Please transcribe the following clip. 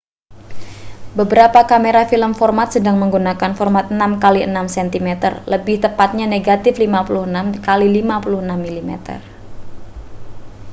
beberapa kamera film format sedang menggunakan format 6 kali 6 cm lebih tepatnya negatif 56 kali 56 mm